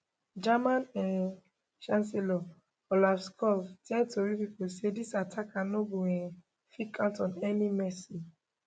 german um chancellor olaf scholz tell tori pipo say dis attacker no go um fit count on any mercy